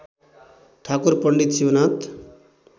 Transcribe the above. Thakur Pandit Shivnath